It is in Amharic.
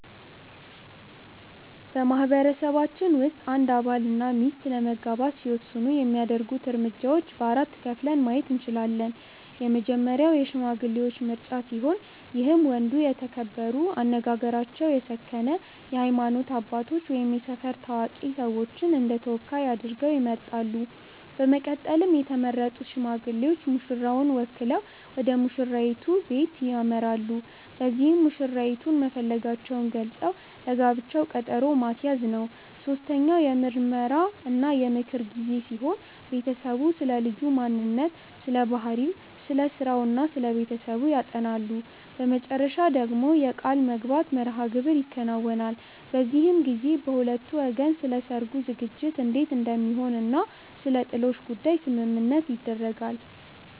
በማህበረሰባችን ውስጥ አንድ ባል እና ሚስት ለመጋባት ሲወስኑ የሚያደርጉት እርምጃዎች በ4 ከፍለን ማየት እንችላለን። የመጀመሪያው የሽማግሌዎች ምርጫ ሲሆን ይህም ወንዱ የተከበሩ፣ አነጋገራቸው የሰከነ የሃይማኖት አባቶች ወይም የሰፈር ታዋቂ ሰዎችን እንደተወካይ አድርገው ይመርጣሉ። በመቀጠልም የተመረጡት ሽማግሌዎች ሙሽራን ወክለው ወደሙሽራይቱ በለት ያመራሉ። በዚህም መሽራይቱን መፈለጋቸውን ገልፀው ለጋብቻው ቀጠሮ ማስያዝ ነው። ሶስተኛው የምርመራ እና የምክር ጊዜ ሲሆን ቤተሰቡ ስለልጁ ማንነት ስለባህሪው፣ ስለስራው እና ስለቤተሰቡ ያጠናሉ። በመጨረሻ ደግሞ የቃልምግባት መርሐግብር ይከናወናል። በዚህም ጊዜ በሁለቱ ወገን ስለሰርጉ ዝግጅት እንዴት እንደሚሆን እና ስለጥሎሽ ጉዳይ ስምምነት ይደረጋል።